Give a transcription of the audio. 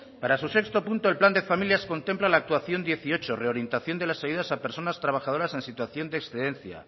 para su punto seis el plan de familias contempla la actuación dieciocho reorientación de las ayudas a personas trabajadoras en situación de excedencia